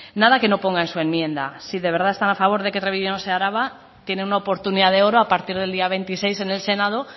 nada que no ponga en su enmienda si de verdad están a favor de que treviño no sea araba tienen una oportunidad de oro a partir del día veintiséis en el senado